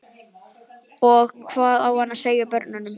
Og hvað á hann að segja börnunum?